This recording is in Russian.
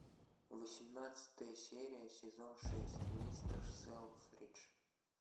восемнадцатая серия сезон шесть мистер селфридж